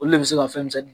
Olu le bɛ se ka fɛn misɛnnin